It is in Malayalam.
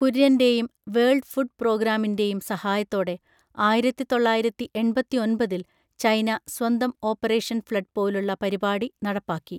കുര്യൻ്റെയും, വേൾഡ് ഫുഡ് പ്രോഗ്രാമിൻ്റെയും സഹായത്തോടെ ആയിരത്തിതൊള്ളയിരത്തിഎൺപത്തിഒൻപതിൽ ചൈന സ്വന്തം ഓപ്പറേഷൻ ഫ്ലഡ് പോലുള്ള പരിപാടി നടപ്പാക്കി.